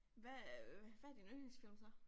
Hvad er øh hvad din yndlingsfilm så